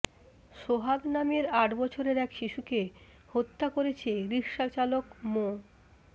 সোহাগ নামের আট বছরের এক শিশুকে হত্যা করেছে রিকশাচালক মো